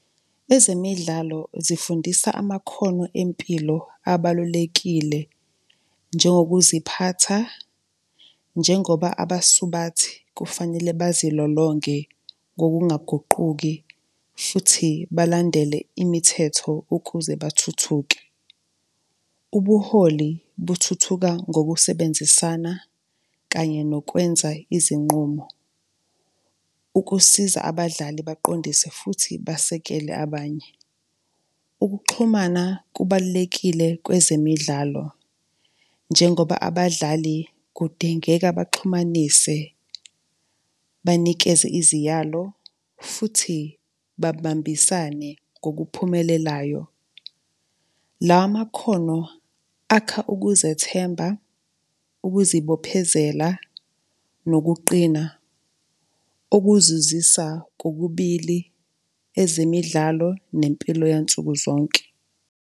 Ezemidlalo zifundisa amakhono empilo abalulekile, njengokuziphatha, njengoba abasubathi kufanele bazilolonge ngokungaguquki futhi balandele imithetho ukuze bathuthuke. Ubuholi buthuthuka ngokusebenzisana kanye nokwenza izinqumo, ukusiza abadlali baqondise futhi basekele abanye. Ukuxhumana kubalulekile kwezemidlalo, njengoba abadlali kudingeka baxhumanise banikeze iziyalo, futhi babambisane ngokuphumelelayo. Lawa makhono akha ukuzethemba, ukuzibophezela nokuqina, okuzuzisa kokubili ezemidlalo nempilo yansuku zonke.